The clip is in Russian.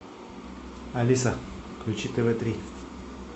алиса включи тв три